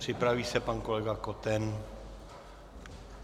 Připraví se pan kolega Koten.